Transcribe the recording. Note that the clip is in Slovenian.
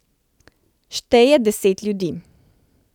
Šteje deset ljudi.